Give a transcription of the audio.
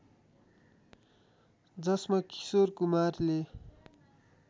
जसमा किशोर कुमारले